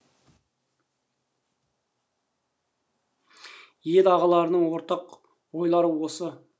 ел ағаларының ортақ ойлары осы